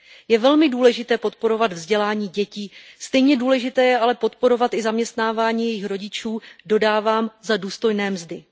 Je velmi důležité podporovat vzdělání dětí, stejně důležité je ale podporovat i zaměstnávání jejich rodičů, dodávám, za důstojné mzdy.